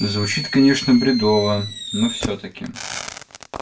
звучит конечно бредово но всё-таки